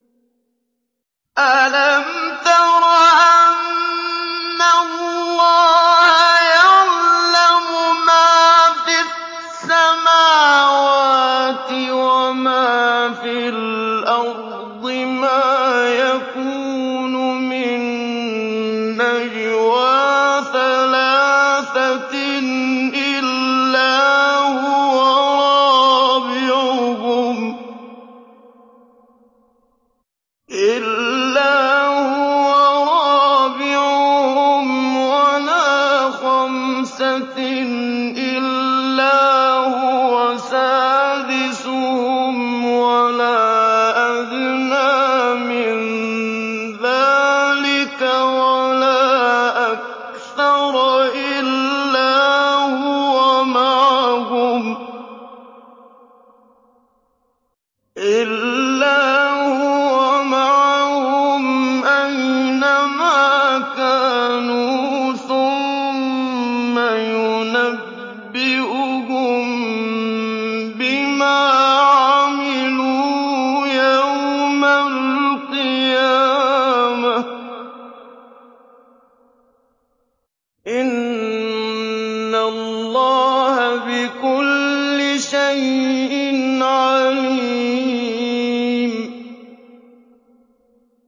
أَلَمْ تَرَ أَنَّ اللَّهَ يَعْلَمُ مَا فِي السَّمَاوَاتِ وَمَا فِي الْأَرْضِ ۖ مَا يَكُونُ مِن نَّجْوَىٰ ثَلَاثَةٍ إِلَّا هُوَ رَابِعُهُمْ وَلَا خَمْسَةٍ إِلَّا هُوَ سَادِسُهُمْ وَلَا أَدْنَىٰ مِن ذَٰلِكَ وَلَا أَكْثَرَ إِلَّا هُوَ مَعَهُمْ أَيْنَ مَا كَانُوا ۖ ثُمَّ يُنَبِّئُهُم بِمَا عَمِلُوا يَوْمَ الْقِيَامَةِ ۚ إِنَّ اللَّهَ بِكُلِّ شَيْءٍ عَلِيمٌ